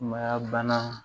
Sumaya bana